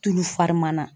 Tulu fari mana